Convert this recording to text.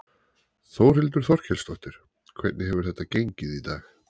Þórhildur Þorkelsdóttir: Hvernig hefur þetta gengið í dag?